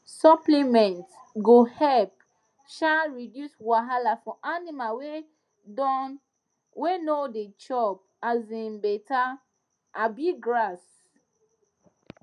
suppliment go help um reduce wahala for animal wey don wey no da chop um better um grass